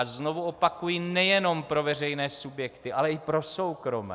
A znovu opakuji, nejenom pro veřejné subjekty, ale i pro soukromé.